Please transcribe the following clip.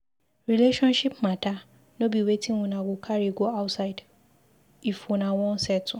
Relationship mata no be wetin una go carry go outside if una wan settle.